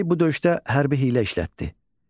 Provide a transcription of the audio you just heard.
Pompey bu döyüşdə hərbi hiylə işlətdi.